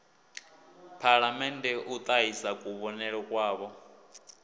phalamennde u ṱahisa kuvhonele kwavho